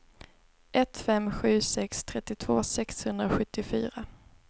ett fem sju sex trettiotvå sexhundrasjuttiofyra